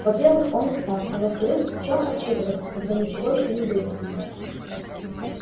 во-первых он устал а во-вторых в чём отчитываться когда ничего ещё не выяснено